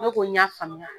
Ne ko n y'a faamuya